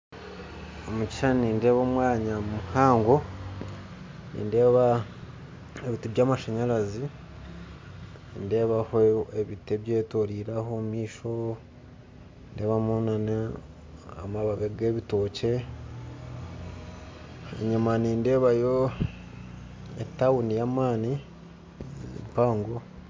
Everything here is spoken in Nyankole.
Omu kishushani nindeeba omwanya muhango nindeeba ebiti byamashanyarazi nindeebaho ebiti ebyetoroirwe aho omumaisho enyima nindeebamu na amababi egebitookye enyima nindeebayo etawuni eyamaani mpango.